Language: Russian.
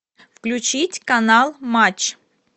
включить канал матч